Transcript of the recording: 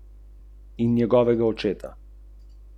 Rad troši tudi za druge, zato ima na računu velikokrat minus.